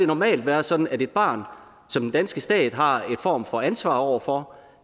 normalt være sådan at det barn som den danske stat har en form for ansvar over for